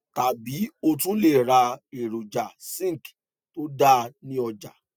tàbí o tún lè ra èròjà zinc tó dáa ní ọjà